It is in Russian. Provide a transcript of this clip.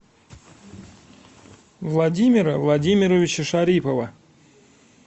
владимира владимировича шарипова